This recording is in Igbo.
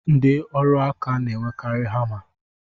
Ndi ọrụ aka na-enwekari hama